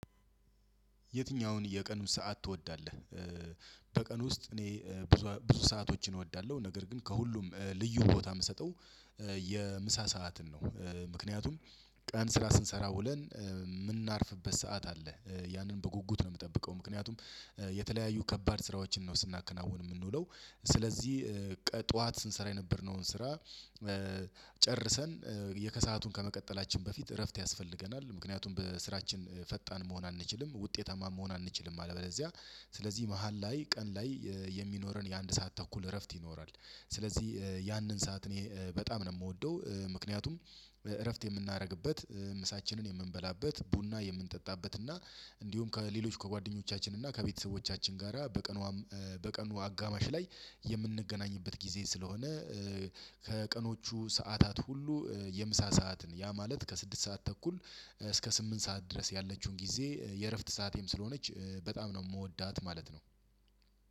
የትኛውን የቀኑን ሰዓት ትወዳለህ? በቀን ውስጥ እኔ ብዙ ብዙ ሰአቶችን እወዳለሁ። ነገር ግን ከሁሉም ልዩ ቦታ የምሰጠው የምሳ ሰዓትን ነው። ምክንያቱም ቀን ስራ ስንሰራ ውለን የምናርፍበት ሰዓት አለ። ያንን በጉጉት ነው የምጠብቀው። ምክንያቱም የተለያዩ ከባድ ስራዎችን ነው ስናከናውን የምንውለው። ስለዚህ ጠዋት ስንሰራ የነበርነውን ስራ ጨርሰን የከሰአቱን ከመቀጠላችን በፊት እረፍት ያስፈልገናል። ምክንያቱም በስራችን ፈጣን መሆን አንችልም ውጤታማ መሆን አንችልም አለበዚያ። ስለዚህ መሃል ላይ ቀን ላይ የሚኖረን የአንድ ሰዓት ተኩል እረፍት ይኖራል። ስለዚህ ያንን ሰዓት እኔ በጣም ነው የምወደው። ምክንያቱም እረፍት የምናደርግበት፣ ምሳችንን የምንበላበት፣ ቡና የምንጠጣበት እና እንዲሁም ከሌሎች ከጓደኞቻችን እና ከቤተሰቦቻችን ጋራ በቀኑ በቀኑ አጋማሽ ላይ የምንገናኝበት ጊዜ ስለሆነ ከቀኖቹ ሰዓታት ሁሉ የምሳ ሰዓትን ያ ማለት ከስድስት ሰዓት ተኩል እስከ ስምንት ሰዓት ድረስ ያለችውን ጊዜ የእረፍት ሰዓቴም ስለሆነች በጣም ነው የምወዳት ማለት ነው።